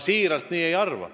Siiralt, mina nii ei arva.